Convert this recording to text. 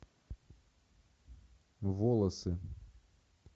волосы